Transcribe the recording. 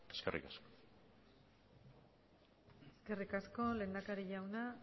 eskerri asko eskerri asko lehendakari jaunak